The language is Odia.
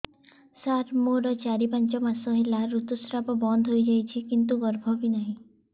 ସାର ମୋର ଚାରି ପାଞ୍ଚ ମାସ ହେଲା ଋତୁସ୍ରାବ ବନ୍ଦ ହେଇଯାଇଛି କିନ୍ତୁ ଗର୍ଭ ବି ନାହିଁ